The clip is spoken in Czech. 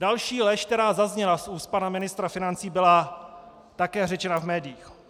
Další lež, která zazněla z úst pana ministra financí, byla také řečena v médiích.